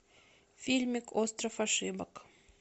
фильмик остров ошибок